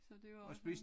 Så det var også noget